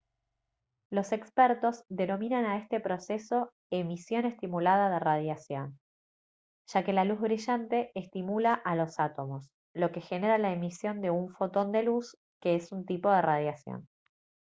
los expertos denominan a este proceso «emisión estimulada de radiación» ya que la luz brillante estimula a los átomos lo que genera la emisión de un fotón de luz que es un tipo de radiación